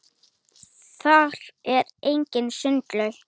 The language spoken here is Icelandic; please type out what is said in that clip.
þar er einnig sundlaug